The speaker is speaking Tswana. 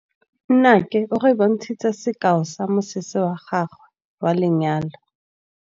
Nnake o re bontshitse sekaô sa mosese wa gagwe wa lenyalo.